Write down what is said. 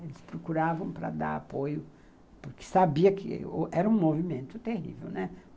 Eles procuravam para dar apoio, porque sabia que era um movimento terrível, né?